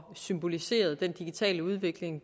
symbolisere den digitale udvikling